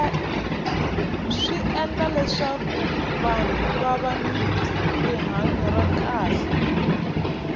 swi endla leswaku vahnu va va ni rihanya ra kahle